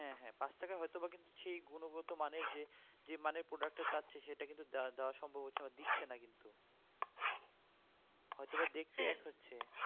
হ্যাঁ হ্যাঁ পাঁচ টাকায় হয়তো বা সেই গুণগত মানের যে মানের product টা চাচ্ছে সেটা কিন্তু দেওয়া~ দেওয়া সম্ভব হচ্ছে না বা দিচ্ছে না কিন্তু হয়তো বা দেখতে এক হচ্ছে